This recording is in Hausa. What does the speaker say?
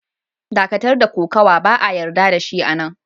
Dakatar da Kokawa! Ba'a yarda da shi a'nan!